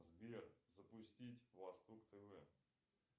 сбер запустить восток тв